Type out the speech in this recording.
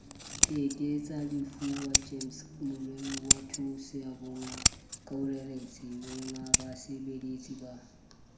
ke ke tsalefuwa gemskemorerowathusoyabongakaoreretswengbasebeletsi ba